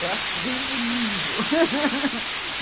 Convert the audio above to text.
Eu acho ruivo lindo.